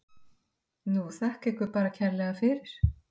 Nú, þakka ykkur bara kærlega fyrir.